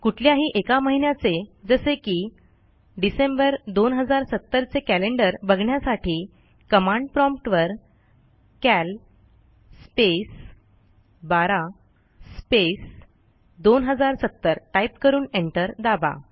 कुठल्याही एका महिन्याचे जसे की डिसेंबर 2070 चे कॅलेंडर बघण्यासाठी कमांड promptवर कॅल स्पेस 12 स्पेस 2070 टाईप करून एंटर दाबा